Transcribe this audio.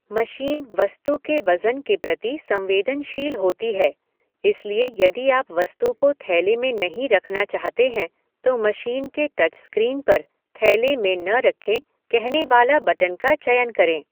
Machine वस्तु के वज़न के प्रति संवेदनशील होती है, इसलिए यदि आप वस्तु को थैले में नहीं रखना चाहते हैं, तो मशीन के टचस्क्रीन पर "थैले में न रखें" कहने वाला बटन का चयन करें।